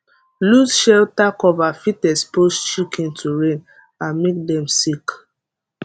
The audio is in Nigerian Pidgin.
loose shelter cover fit expose chicken to rain and make dem sick